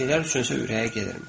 Pişiklər üçün isə ürəyə gedirmiş.